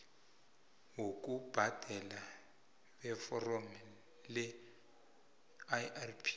bokubhadela beforomo leirp